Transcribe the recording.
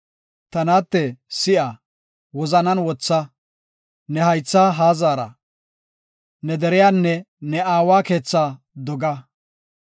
Ta naatte, si7a; wozanan wotha; ne haytha haa zaara; ne deriyanne ne aawa keethaa doga.